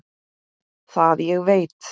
Það ég veit.